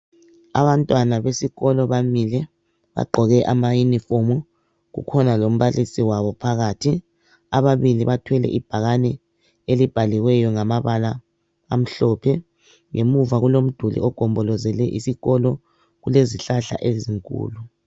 Abantwana besikolo bamile bagqoke ama uniform kukhona lombalisi wabo phakathi ababili bathwele ibhakane elibhaliweyo ngamabala amhlophe ngemuva kulomduli ogombolozele isikolo kulezihlahla ezinkulu.